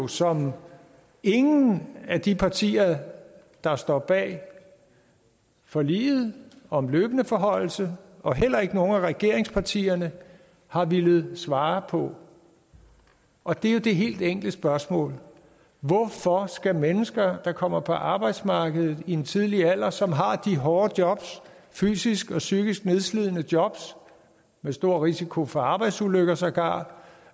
som ingen af de partier der står bag forliget om en løbende forhøjelse og heller ikke nogen af regeringspartierne har villet svare på og det er det helt enkle spørgsmål hvorfor skal mennesker der kommer på arbejdsmarkedet i en tidlig alder som har de hårde jobs fysisk og psykisk nedslidende jobs med stor risiko for arbejdsulykker sågar